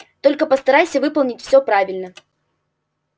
только постарайся выполнить всё правильно